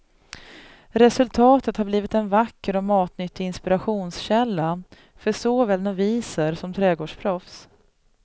Resultatet har blivit en vacker och matnyttig inspirationskälla, för såväl noviser som trädgårdsproffs.